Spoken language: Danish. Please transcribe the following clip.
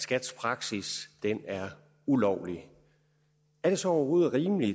skats praksis er ulovlig er det så overhovedet rimeligt